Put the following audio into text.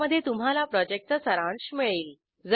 ज्यामध्ये तुम्हाला प्रॉजेक्टचा सारांश मिळेल